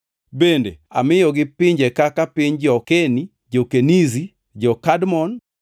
Bende amiyogi pinje kaka piny jo-Keni, jo-Kenizi, jo-Kadmon,